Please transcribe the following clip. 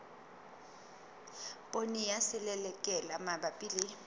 poone ya selelekela mabapi le